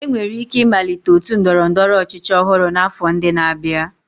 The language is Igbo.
Enwere ike ịmalite otu ndọrọ ndọrọ ọchịchị ọhụrụ n'afọ ndị na-abịa